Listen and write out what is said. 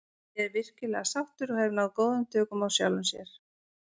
Ég er virkilega sáttur og hef náð góðum tökum á sjálfum sér.